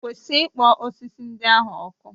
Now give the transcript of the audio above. Kwụsị ikpọ osisi ndị ahụ ọkụ.